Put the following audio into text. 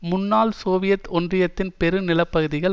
முன்னாள் சோவியத் ஒன்றியத்தின் பெரும் நிலப்பகுதிகள்